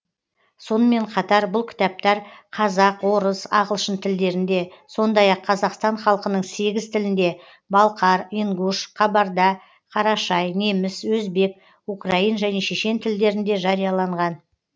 сонымен қатар бұл кітаптар қазақ орыс ағылшын тілдерінде сондай ақ қазақстан халқының сегіз тілінде балқар ингуш қабарда қарашай неміс өзбек украин және шешен тілдерінде жарияланған